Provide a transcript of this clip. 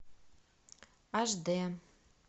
аш дэ